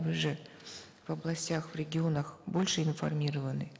вы же в областях в регионах больше информированы